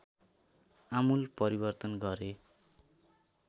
आमूल परिवर्तन गरे